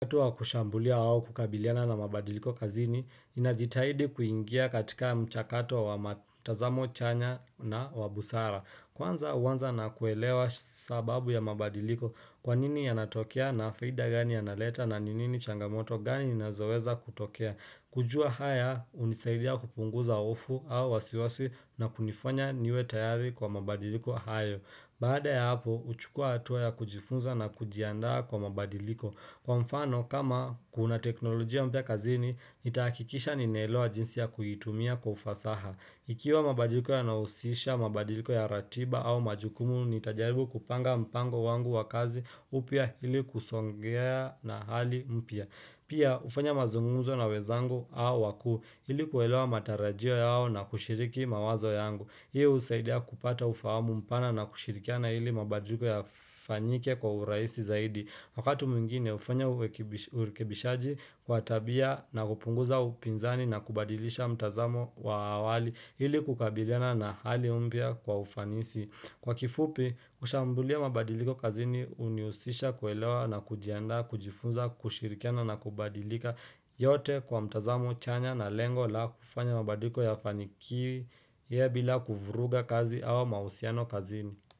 Wakati wa kushambulia au kukabiliana na mabadiliko kazini, ninajitahidi kuingia katika mchakato wa matazamo chanya na wa busara. Kwanza huanza na kuelewa sababu ya mabadiliko, kwa nini yanatokea na faida gani yanaleta na ni nini changamoto gani inazoweza kutokea. Kujua haya hunisaidia kupunguza hofu au wasiwasi na kunifanya niwe tayari kwa mabadiliko hayo. Baada ya hapo, huchukua hatua ya kujifunza na kujiandaa kwa mabadiliko. Kwa mfano, kama kuna teknolojia mpya kazini, nitahakikisha ninaelewa jinsi ya kuitumia kwa ufasaha. Ikiwa mabadiliko yanahusisha, mabadiliko ya ratiba au majukumu, nitajaribu kupanga mpango wangu wa kazi upya ili kusongea na hali mpya. Pia, hufanya mazungumzo na wenzangu au wakuu ili kuelewa matarajio yao na kushiriki mawazo yangu. Hii husaidia kupata ufahamu mpana na kushirikiana ili mabadiliko yafanyike kwa urahisi zaidi Wakati mwingine hufanya urekebishaji wa tabia na kupunguza upinzani na kubadilisha mtazamo wa awali, ili kukabiliana na hali mpya kwa ufanisi. Kwa kifupi, kushambulia mabadiliko kazini hunihusisha kuelewa na kujiandaa, kujifunza, kushirikiana na kubadilika yote kwa mtazamo chanya na lengo la kufanya mabadiliko yafanikii bila kuvuruga kazi au mahusiano kazini.